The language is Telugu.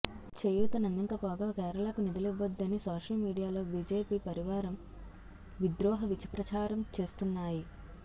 చేయూతనందింకపోగా కేరళకు నిధులివ్వొద్దని సోషల్ మీడియాలో బిజెపి పరివారం విద్రోహ విష ప్రచారం చేస్తున్నాయి